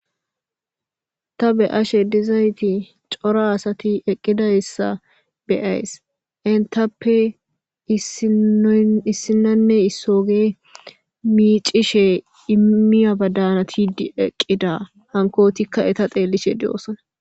Ta be7ashe dizayti cora asati eqqidayssa be7ays. Entappe issinnoy issinanne issooge miiccishe immiya badanatiddi eqqida hankootikka eta xeelishe de7oosana.